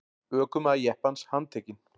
Ökumaður jeppans handtekinn